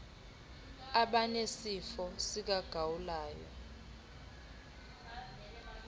abanesifo sika gawulayo